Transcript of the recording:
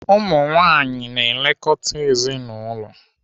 Ụmụnwaanyị na-elekọta ezinaụlọ.